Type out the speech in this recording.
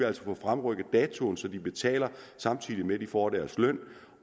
altså få fremrykket datoen så de betaler samtidig med at de får deres løn